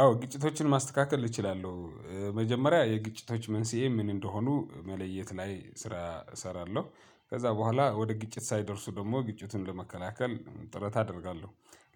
አዎ ግጭቶችን ማስተካከል እችላለሁ መጀመሪያ የግጭቶች መንስኤ ምን እንደሆኑ መለየት ላይ ስራ እሰራለሁ ከዛ በኋላ ወደ ግጭት ሳይደርሱ ደግሞ ግጭቱን ለመከላከል ጥረት አደርጋለሁ።